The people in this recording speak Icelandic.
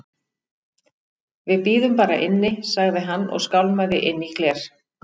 Við bíðum bara inni- sagði hann og skálmaði inn í gler